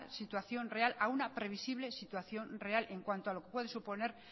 situación real a una previsible situación real en cuanto lo que puede suponer